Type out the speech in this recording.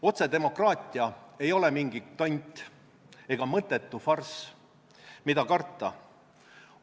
Otsedemokraatia ei ole mingi tont ega mõttetu farss, mida karta.